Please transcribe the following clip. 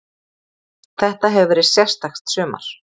Þetta hefur verið sérstakt sumar.